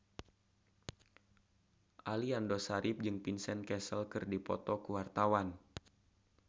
Aliando Syarif jeung Vincent Cassel keur dipoto ku wartawan